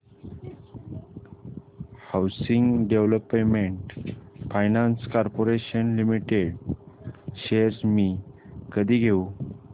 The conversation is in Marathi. housing development finance corporation limited shares मी कधी घेऊ